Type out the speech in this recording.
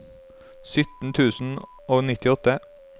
sytten tusen og nittiåtte